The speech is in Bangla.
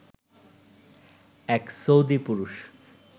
এক সৌদি পুরুষ